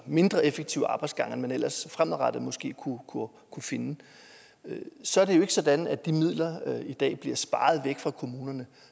mindre effektive arbejdsgange end man ellers fremadrettet måske kunne finde så er det jo ikke sådan at de midler i dag bliver sparet væk fra kommunerne